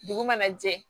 Dugu mana jɛ